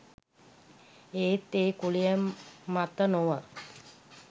ඒත් ඒ කුලය මත නොව